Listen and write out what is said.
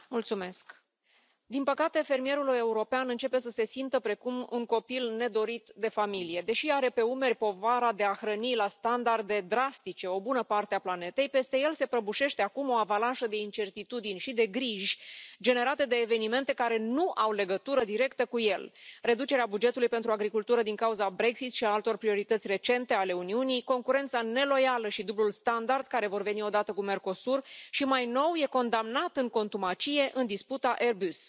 Doamna Președintă, din păcate fermierul european începe să se simtă precum un copil nedorit de familie. Deși are pe umeri povara de a hrăni la standarde drastice o bună parte a planetei, peste el se prăbușește acum o avalanșă de incertitudini și de griji generate de evenimente care nu au legătură directă cu el reducerea bugetului pentru agricultură din cauza Brexit și a altor priorități recente ale Uniunii, concurența neloială și dublul standard care vor veni odată cu Mercosur și, mai nou, e condamnat în contumacie în disputa Airbus.